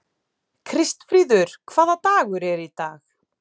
Kristfríður, hvaða dagur er í dag?